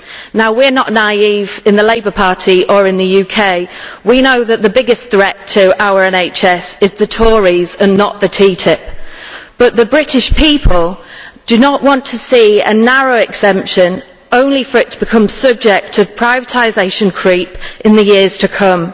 Now we are not naive in the Labour Party or in the UK, we know that the biggest threat to our NHS is the Tories and not TTIP, but the British people do not want to see a narrow exemption only for it to become subject to privatisation creep in the years to come.